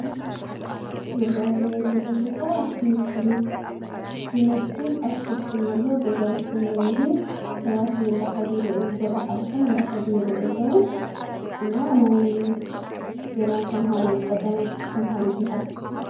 ዝረአ ዘሎ ቦታ ትምህርቲ ቤት ይመስል? አትክልቲ እውን አሎ ገዛውቲ እውን አሎ ሰባት እውን እናኸዱ፣ በሪ ሓሊፎም እናኸዱ፣ ይረአዩ እና ናይ ገና ተምሃሮ ቀዳማይ ብርኪ ተምሃሮ ዝመሃርሉ ትምህርቲ ።